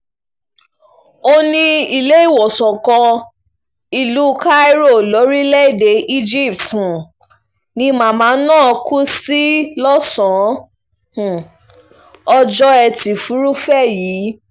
ó ní iléèwòsàn kan ìlú cairo lórílẹ̀‐èdè egypt um ni màmá náà kú sí lọ́sàn-án um ọjọ́ etí furuufee yìí